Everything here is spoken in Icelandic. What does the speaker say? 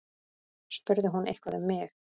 Spurði hún eitthvað um mig?